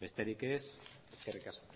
besterik ez eskerrik asko